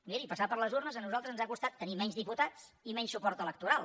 miri passar per les urnes a nosaltres ens ha costat tenir menys diputats i menys suport electoral